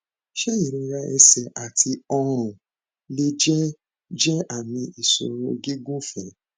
ṣé ìrora ẹsẹ àti ọrùn lè jẹ jẹ àmì ìṣòro gígùnfẹ